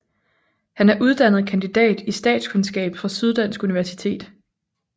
Han er uddannet kandidat i statskundskab fra Syddansk Universitet